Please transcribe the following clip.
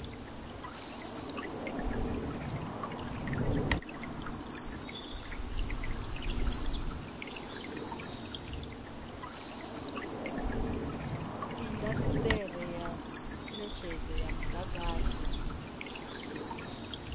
indasiteri ya netshedzo ya mudagasi